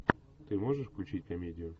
ты можешь включить комедию